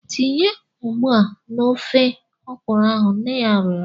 Tinye ugba na ofe okwụrụ ahu! nne ya rịọrọ.